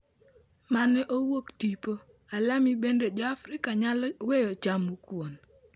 Mane owuok tipo, Alamy Bende Joafrika nyalo weyo chamo Kuon?